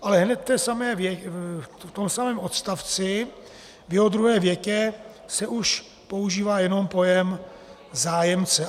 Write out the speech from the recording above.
Ale hned v tom samém odstavci v jeho druhé větě se už používá jenom pojem zájemce.